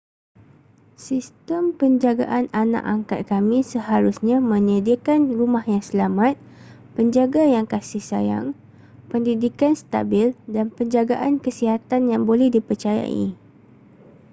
sistem penjagaan anak angkat kami seharusnya menyediakan rumah yang selamat penjaga yang kasih sayang pendidikan stabil dan penjagaan kesihatan yang boleh dipercayai